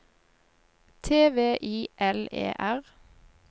T V I L E R